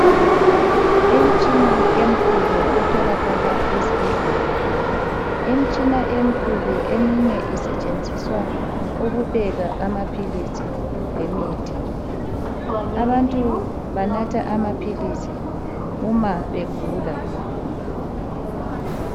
Imitshina emikhulu etholakala ezibhedlela. Eminye isetshenziswa ukupheka amaphilisi lemithi Abantu banatha amaphilisi uma begula.